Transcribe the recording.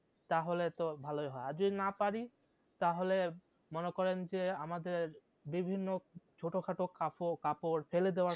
তাহলে তো ভালোই হয় আর যদি না পারি তাহলে মনে করেন যে আমাদের বিভিন্ন ছোট খাটো কাপ কাপড় ফেলে দেওয়া